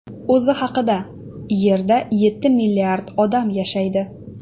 O‘zi haqida: Yerda yetti milliard odam yashaydi.